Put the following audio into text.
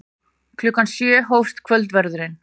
Klukkan sjö hófst kvöldverðurinn.